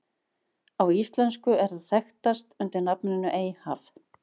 Á íslensku er það þekkast undir nafninu Eyjahaf.